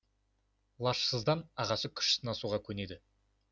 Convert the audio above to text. лажсыздан ағасы күш сынасуға көнеді